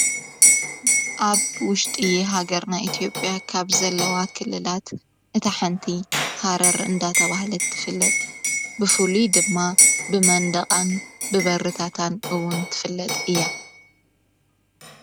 ኣብ ውሽጢ እየ ሃገርና ኤቲኦጵያ ካብ ዘለዋ ክልላት እታ ሓንቲ ሃረ ርእንዳ ተብህለት ትፍለጥ ብፍሉይ ድማ ብመንደቓን ብበርታታን እውን ትፍለጥ እያ